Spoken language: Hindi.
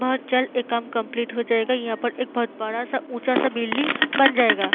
बोहोत जल्द ये काम कम्पलीट हो जायगा यह पर एक बोहोत बड़ा ऊचा बिल्डिंग बन जायेगा ।